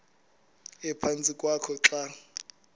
ephantsi kwakho xa